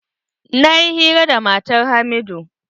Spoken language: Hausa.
Na yi hira da matar hamidu.